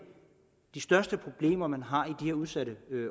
de største problemer man har i her udsatte